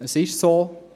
Es ist so: